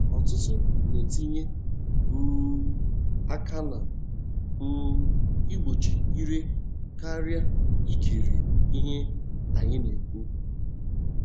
Ọtụtụ na-etinye um aka na um igbochi ire karịa ikiri ihe anyị na-ekwu.